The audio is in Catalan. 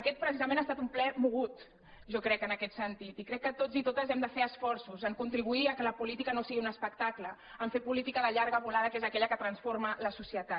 aquest precisament ha estat un ple mogut jo crec en aquest sentit i crec que tots i totes hem de fer esforços a contribuir que la política no sigui un es·pectacle a fer política de llarga volada que és aquella que transforma la societat